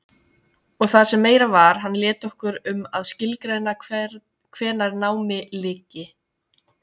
Og það sem meira var, hann lét okkur um að skilgreina hvenær námi lyki.